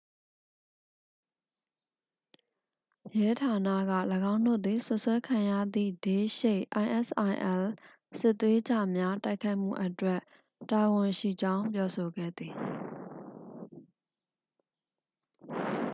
ရဲဌာနက ၎င်းတို့သည် စွပ်စွဲခံရသည့် ဒေးရှိတ် isil စစ်သွေးကြွအား တိုက်ခိုက်မှုအတွက် တာဝန်ရှိကြောင်း ပြောဆိုခဲ့သည်။